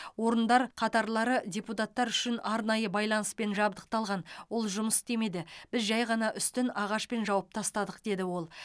орындар қатарлары депутаттар үшін арнайы байланыспен жабдықталған ол жұмыс істемеді біз жай ғана үстін ағашпен жауып тастадық деді ол